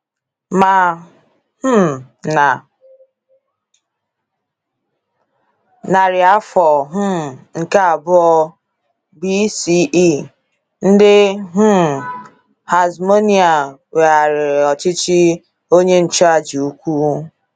Ma um na narị afọ um nke abụọ B.C.E., ndị um Hasmonaean weghaara ọchịchị onye nchụàjà ukwu.